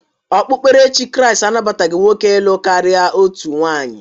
Okpukperechi Kriisti anabataghị nwoke ịlụ karịa otu nwunye